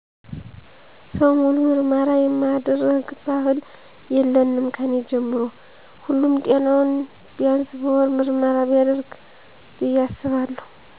ሰው ሙሉ ምርመራ የማድረግ ባህል የለንም ከኔ ጀምሮ። ሁሉም ጤናውን ቢንስ በወር ምርመራ ቢያደርግ ብይ አስባለሁ